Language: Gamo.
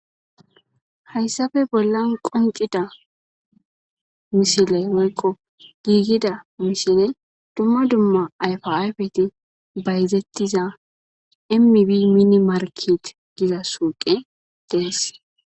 Hayssafe bollan qoncida misile woykqo giigida mishile dumma dumma ayfaayfeti bayzettiza emmibi mine markit giza suuqe dees.